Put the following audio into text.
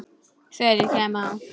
Þegar ég kem á